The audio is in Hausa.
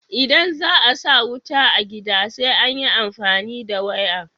Idan za a sa wuta a gida sai an yi amfani da waya.